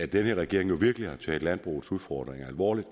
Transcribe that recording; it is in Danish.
den her regering virkelig har taget landbrugets udfordringer alvorligt